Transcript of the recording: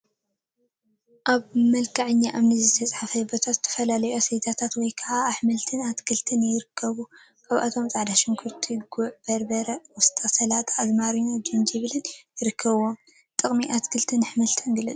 አብ መልክዐኛ እምኒ ዝተነፀፈ ቦታ ዝተፈላለዩ አስቤዛታት ወይ ከዓ አሕምልትን አትክልትን ይርከቡ፡፡ ካብአቶም ፃዕዳ ሽጉርቲ፣ ጉዕ በርበረ፣ ቆስጣ፣ ሰላጣ፣ አዝማሪኖን ጅንጅብልን ይርከቡዎም፡፡ ጥቅሚ አትክልትን አሕምልትን ግለፁ፡፡